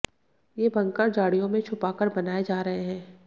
ये बंकर झाड़ियों में छुपाकर बनाए जा रहे हैं